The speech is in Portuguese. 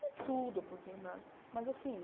Não tudo, porque na, mas assim...